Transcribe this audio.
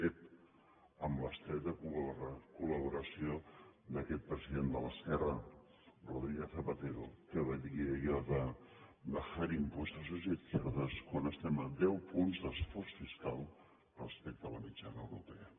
ep amb l’estreta col·laboració d’aquest president de l’esquerra rodríguez zapatero que va dir allò de bajar impuestos es de izquierdas quan estem a deu punts d’esforç fiscal respecte a la mitjana europea